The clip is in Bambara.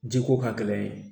Jiko ka gɛlɛn